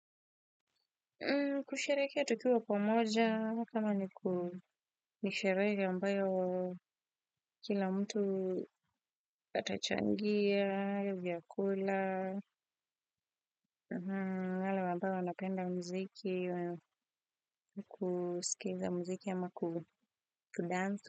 Kusherehekea tukiwa pamoja, kama ni sherehe ambayo kila mtu atachangia, vyakula, wale wambao wanapenda muziki, kusikiza muziki ama kudance.